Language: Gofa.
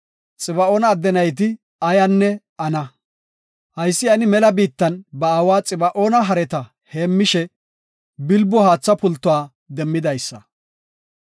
Xiba7oona adde nayti Ayanne Ana; haysi Ani mela biittan ba aawa Xiba7oona hareta heemmishe bilbo haatha pultuwa demmidaysa.